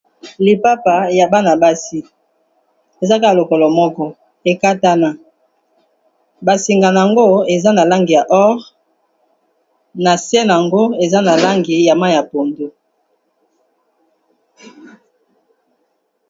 Lipapa ya bana-basi ezaka lokolo moko ekatana basingana yango eza na lange ya ore na se yango eza na langi ya ma ya pondo